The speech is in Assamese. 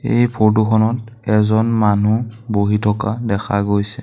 এই ফটো খনত এজন মানুহ বহি থকা দেখা গৈছে।